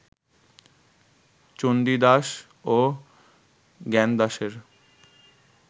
চণ্ডীদাস ও জ্ঞানদাসের